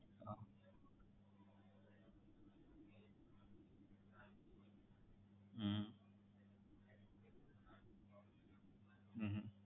હા હમ હમ